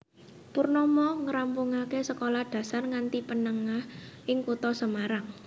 Purnomo ngrampungaké sekolah dasar nganti menengah ing kutha Semarang